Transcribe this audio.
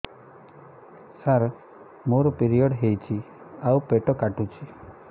ସାର ମୋର ପିରିଅଡ଼ ହେଇଚି ଆଉ ପେଟ କାଟୁଛି